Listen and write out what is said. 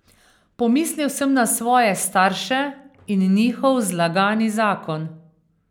Pomislil sem na svoje starše in njihov zlagani zakon.